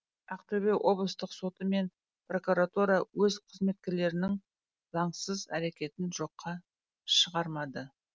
ақтөбе облыстық соты мен прокуратура өз қызметкерлерінің заңсыз әрекетін жоққа шығармады